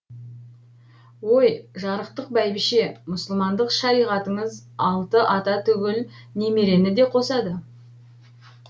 ой жарықтық бәйбіше мұсылмандық шариғатыңыз алты ата түгіл немерені де қосады